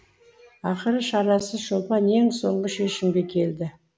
ақыры шарасыз шолпан ең соңғы шешімге келді